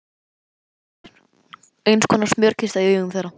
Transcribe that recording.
Jafnvel Ísland var einskonar smjörkista í augum þeirra.